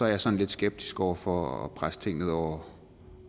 jeg sådan lidt skeptisk over for at presse ting ned over